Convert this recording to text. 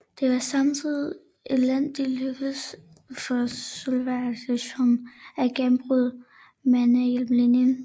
Det var samtidig endelig lykkedes for Sovjetunionen at gennembryde Mannerheimlinjen